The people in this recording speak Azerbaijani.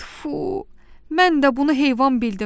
Tfu, mən də bunu heyvan bildim.